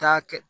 Taa kɛ